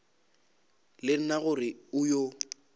le nna gore o yo